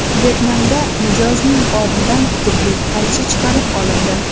Vyetnamda mijozning qornidan tibbiy qaychi chiqarib olindi.